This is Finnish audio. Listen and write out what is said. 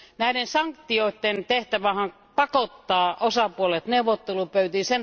Näiden sanktioiden tehtävä on pakottaa osapuolet neuvottelupöytiin.